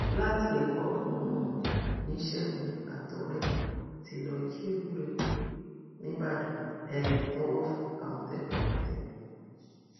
láti ẹkọ um ní ṣẹgun àtọrẹ ẹ tí lọọ jí ewúrẹ gbé nìbàdàn um tọwọ àmọtẹkùn fi tẹ wọn